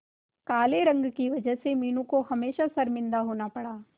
काले रंग की वजह से मीनू को हमेशा शर्मिंदा होना पड़ा